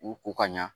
U ko ka ɲa